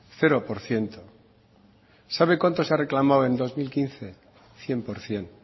cero por ciento sabe cuánto se ha reclamado en dos mil quince cien por ciento